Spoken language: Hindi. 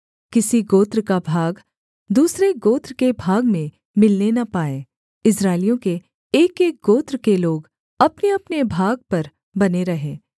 किसी गोत्र का भाग दूसरे गोत्र के भाग में मिलने न पाएँ इस्राएलियों के एकएक गोत्र के लोग अपनेअपने भाग पर बने रहें